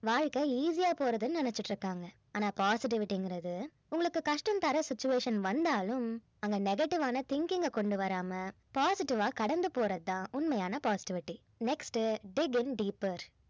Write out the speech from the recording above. வாழ்க்கை easy போறதுன்னு நினைச்சிட்டிருக்காங்க ஆனா positivity ங்கிறது உங்களுக்கு கஷ்டம் தர situation வந்தாலும் அங்க negative ஆன thinking அ கொண்டு வராம positive ஆ கடந்து போறது தான் உண்மையான positivity next உ dig in deeper